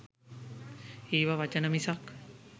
ඒවා වචන මිසක්